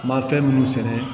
Ma fɛn minnu sɛnɛ